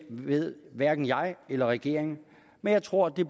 ved hverken jeg eller regeringen men jeg tror at det